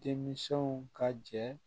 Denmisɛnw ka jɛ